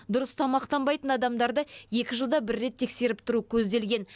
дұрыс тамақтанбайтын адамдарды жылда рет тексеріп тұру көзделген